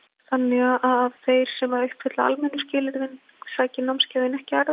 þannig að þeir sem uppfylli almennu skilyrðin sæki námskeið en ekki aðrir